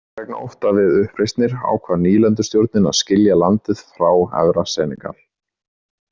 Vegna ótta við uppreisnir ákvað nýlendustjórnin að skilja landið frá Efra Senegal.